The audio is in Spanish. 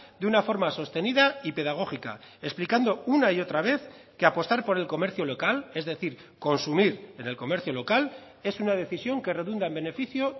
de una forma sostenida y pedagógica explicando una y otra vez que apostar por el comercio local es decir consumir en el comercio local es una decisión que redunda en beneficio